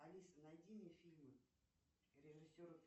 алиса найди мне фильмы режиссеров